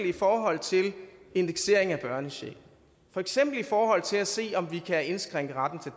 i forhold til indeksering af børnechecken for eksempel i forhold til at se om vi kan indskrænke retten